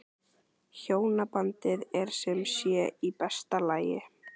Hjónabandið er sem sé í besta lagi?